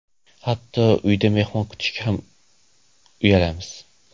Hatto uyda mehmon kutishga ham uyalamiz.